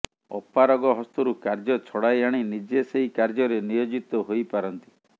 ଅପାରଗ ହସ୍ତରୁ କାର୍ଯ୍ୟ ଛଡାଇ ଆଣି ନିଜେ ସେହି କାର୍ଯ୍ୟରେ ନିୟୋଜିତ ହୋଇପାରନ୍ତି